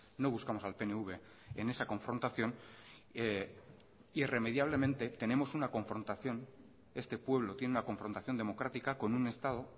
no buscamos al pnv en esa confrontación irremediablemente tenemos una confrontación este pueblo tiene una confrontación democrática con un estado